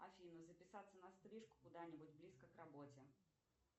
афина записаться на стрижку куда нибудь близко к работе